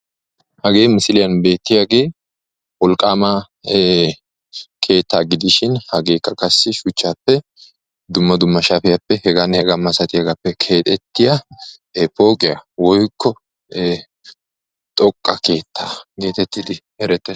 Hage misiliyaan beertiyaage wolqqama keetta gidishin hageekka qassi shuchchappe dumma dumma shapiyaappe heganne hega masatiyaagappe keexxetiya poqqiyaa woykko xoqqaa keettaa getettidi erettees.